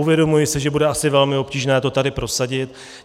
Uvědomuji si, že bude asi velmi obtížné to tady prosadit.